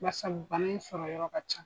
Bari sabu bana in sɔrɔ yɔrɔ ka ca.